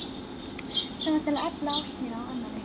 Sem varð til að efla ást mína á annarri.